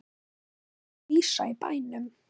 Mesta skvísan í bænum.